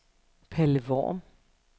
Palle Worm